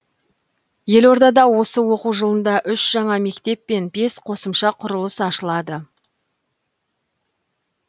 елордада осы оқу жылында үш жаңа мектеп пен бес қосымша құрылыс ашылады